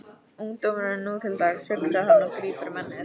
Ungdómurinn nú til dags, hugsar hann og grípur um ennið.